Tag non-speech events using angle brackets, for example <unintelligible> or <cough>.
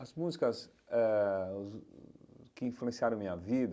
As músicas eh <unintelligible> que influenciaram a minha vida,